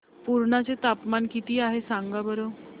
पुर्णा चे तापमान किती आहे सांगा बरं